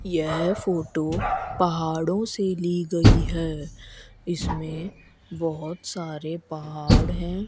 यह फोटो पहाड़ों से ली गई है इसमें बहोत सारे पहाड़ हैं।